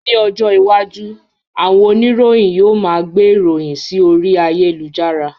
Ní ọjọ iwájú, àwọn oníròyìn yóò máa gbé ìròyìn sí orí ayélujára